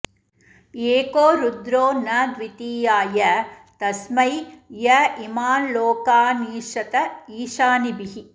एको रुद्रो न द्वितीयाय तस्मै य इमांल्लोकानीशत ईशनीभिः